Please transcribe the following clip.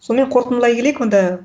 соңымен қорытындылай келейік онда